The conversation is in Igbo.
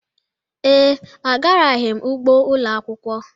Ee, agaraghị m ugbo ụlọ akwụkwọ.